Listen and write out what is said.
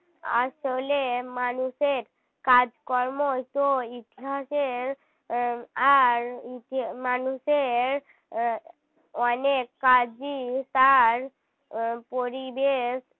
আসলে মানুষের কাজকর্ম তো ইতিহাসের আর মানুষের অনেক কাজই তার পরিবেশ